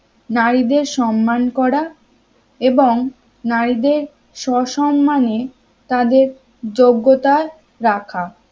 নারীদের সম্মান করা এবং নারীদের সসম্মানে তাদের যোগ্যতা রাখা